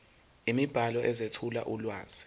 imibhalo ezethula ulwazi